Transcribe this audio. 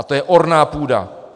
A to je orná půda.